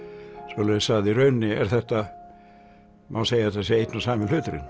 svoleiðis að í rauninni er þetta má segja að þetta sé einn og sami hluturinn